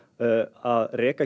að reka